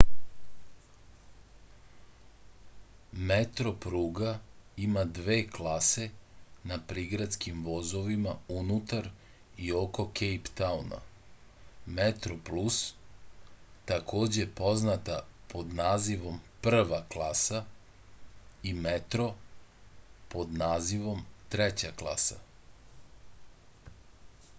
метропруга има две класе на приградским возовима унутар и око кејптауна: метроплус такође позната под називом прва класа и метро под називом трећа класа